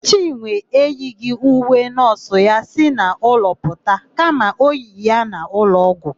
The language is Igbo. Chinwe eyighị uwe nọọsụ ya si n'ụlọ pụta kama o yiri ya n'ụlọọgwụ.